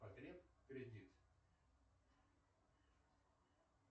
потреб кредит